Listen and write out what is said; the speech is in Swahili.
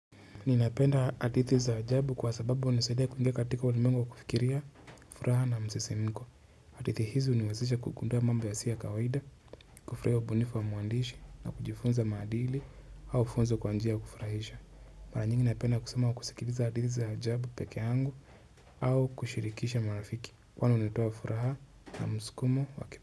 Ninapenda hadithi za ajabu kwa sababu hunisaidia kuingia katika ulimwengu wa kufikiria, furaha na msisimko. Hadithi hizi huniwezesha kugundua mambo yasiyo kawaida, kufurahia ubunifu wa mwandishi na kujifunza maadili au funzo kwa njia ya kufurahisha. Mara nyingi napenda kusoma na kusikiliza hadithi za ajabu pekee yangu au kushirikisha marafiki kwani hunitoa furaha na mskumo wa kip.